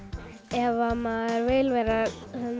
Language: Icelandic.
ef maður vill verða